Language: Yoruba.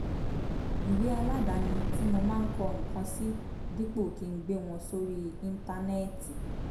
ìwé aládani tí mo máa ń kọ nǹkan sí dípò kí n gbé wọn sórí íńtánẹ́ẹ̀tì